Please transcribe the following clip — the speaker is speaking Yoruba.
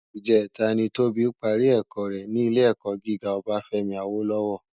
Ijètá ni Toba pàrí èkò rè ni Ilé èkò gigá Obafemi Awolowo